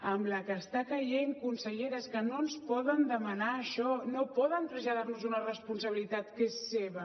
amb la que està caient consellera és que no ens poden demanar això no poden traslladar nos una responsabilitat que és seva